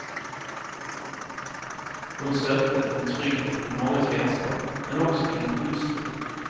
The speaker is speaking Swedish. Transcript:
Hon sökte en trygghet i mångas vänskap men också i en gudstro.